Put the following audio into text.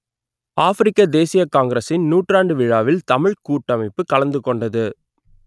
ஆப்பிரிக்க தேசியக் காங்கிரசின் நூற்றாண்டு விழாவில் தமிழ்க் கூட்டமைப்பு கலந்து கொண்டது